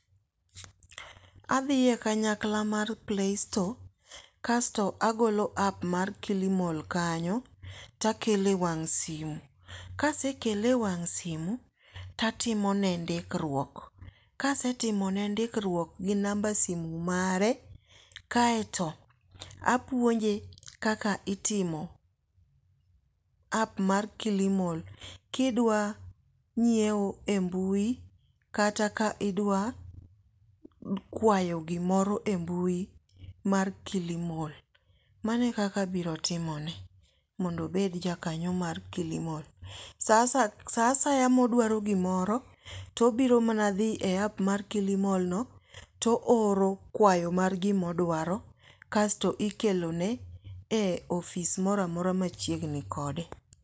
Adhiye kanyakla mar play store kasto agolo app mar Kilimall kanyo to akele wang' simo. Kasekele wang' simo, tatimo ne ndikruok. Kasetimo ne ndikruok gi namba simo mare kaeto apuonje kaka itimo app mar Kilimall kidwa ng'iewo e mbui kata ka idwa kwayo gimoro e mbui mar Kilimall. Mane kaka abiro timone. Mondo obed ja kanyo mar Kilimall. Sa asaya modwaro gimoro tobiro mana dhi e app mar Kilimall no to o oro kwayo mar gimodwaro kasto ikelo ne e ofis moro amora machiegni kode.